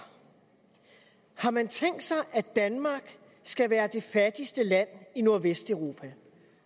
har man tænkt sig at danmark skal være det fattigste land i nordvesteuropa